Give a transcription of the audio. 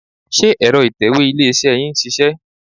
Ṣé ẹ̀rọ ìtẹ̀wé ilé-iṣẹ́ yín ń ṣiṣẹ́?